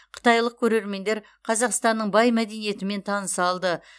қытайлық көрермендер қазақстанның бай мәдениетімен таныса алды